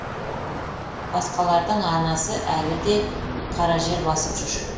басқалардың анасы әлі де қара жер басып жүр